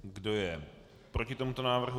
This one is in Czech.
Kdo je proti tomuto návrhu?